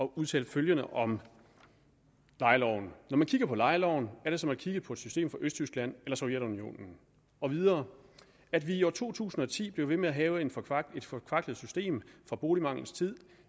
udtale følgende om lejeloven når man kigger på lejeloven er det som at kigge på et system fra østtyskland eller sovjetunionen og videre at vi i år to tusind og ti bliver ved med at have et forkvaklet forkvaklet system fra boligmanglens tid